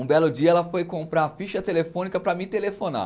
Um belo dia ela foi comprar a ficha telefônica para me telefonar.